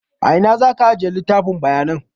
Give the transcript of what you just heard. A ina za ka aje littafin bayanan?